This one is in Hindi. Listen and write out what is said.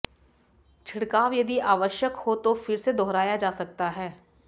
छिड़काव यदि आवश्यक हो तो फिर से दोहराया जा सकता है